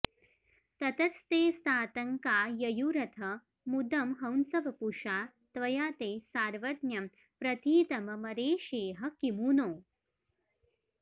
ततस्तेऽस्तातङ्का ययुरथ मुदं हंसवपुषा त्वया ते सार्वज्ञं प्रथितममरेशेह किमु नो